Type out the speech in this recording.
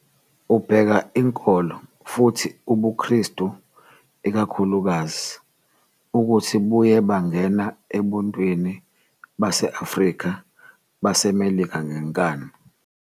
Ubheka inkolo, futhi ubuKristu ikakhulukazi, ukuthi buye bangena ebuntwini base-Afrika-baseMelika ngenkani.